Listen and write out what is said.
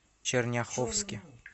черняховске